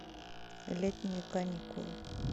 летние каникулы